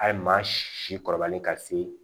A ye maa si kɔrɔbalen ka se